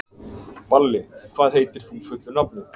Balli, hvað heitir þú fullu nafni?